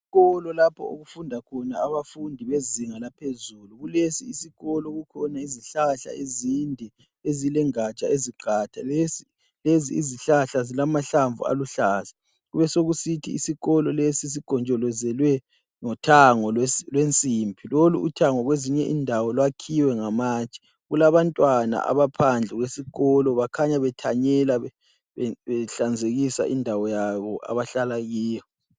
Isikolo lapho okufunda khona abafundi bezinga laphezulu, kulesi yisikolo kukhona izihlahla ezinde ezilezingatsha eziqatha lezi izihlahla zilamahlamvu aluhlaza, besokusithi isikolo lesi sigonjolozelwe ngothango lwensimbi loluthango kwezinyindawo lwakhiwe ngamatshe kulabantwana abaphandle kwesikolo bakhanya bethanyela behlanzekisa indawoyabo abahlalakiyo